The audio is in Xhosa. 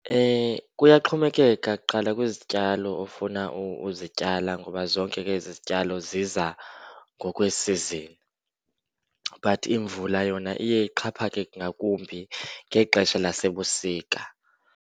Kuyaxhomekeka kuqala kwizityalo ofuna uzityala ngoba zonke ke ezi zityalo ziza ngokweesizini. But imvula yona iye ixhaphake ngakumbi ngexesha lasebusika.